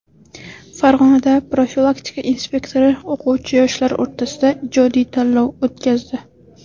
Farg‘onada profilaktika inspektori o‘quvchi-yoshlar o‘rtasida ijodiy tanlov o‘tkazdi.